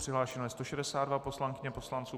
Přihlášeno je 162 poslankyň a poslanců.